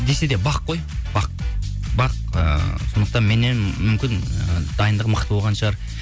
десе де бақ қой ыыы сондықтан меннен мүмкін ы дайындығы мықты болған шығар